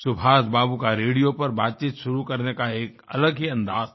सुभाषबाबू का रेडियो पर बातचीत शुरू करने का एक अलग ही अंदाज़ था